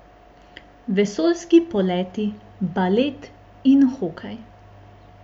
Vesoljski poleti, balet in hokej!